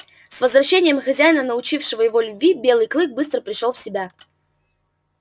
с возвращением хозяина научившего его любви белый клык быстро пришёл в себя